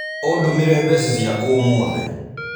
ũndũmĩre mbeca ciakwa ũmũthĩ.